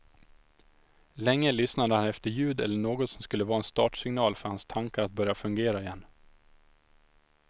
Länge lyssnade han efter ljud eller något som skulle vara en startsignal för hans tankar att börja fungera igen.